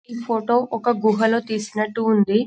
ఈ ఫోటో ఒక గుహలో తీసినట్టు ఉంది --